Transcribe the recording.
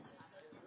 Sən yəni bilirsən.